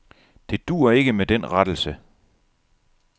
Det duer ikke med den rettelse.